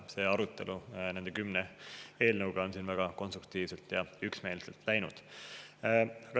Ja nende kümne eelnõu arutelu on siin väga konstruktiivselt ja üksmeelselt läinud.